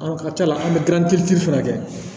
ka ca an bɛ gilan fana kɛ